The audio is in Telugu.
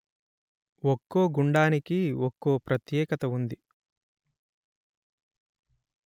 ఒక్కో గుండానికి ఒక్కో ప్రత్యేకత ఉంది